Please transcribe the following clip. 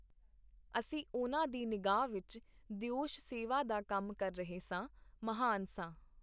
ਅਸੀਂ ਉਹਨਾਂ ਦੀ ਨਿਗਾਹ ਵਿਚ ਦਿਓਸ਼-ਸੇਵਾ ਦਾ ਕੰਮ ਕਰ ਰਹੇ ਸਾਂ, ਮਹਾਨ ਸਾਂ.